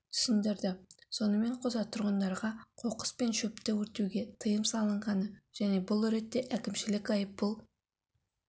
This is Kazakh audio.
түсіндірді сонымен қоса тұрғындарға қоқыс пен шөпті өртеуге тыйым салынғаны және бұл ретте әкімшілік айыппұл